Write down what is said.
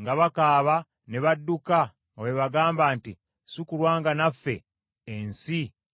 nga bakaaba ne badduka nga bwe bagamba nti, “Si kulwa nga naffe ensi etumira!”